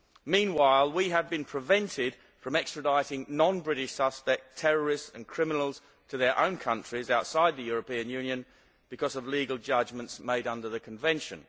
Meanwhile, we have been prevented from extraditing non British suspect terrorists and criminals to their own countries outside the European Union because of legal judgments made under the Convention.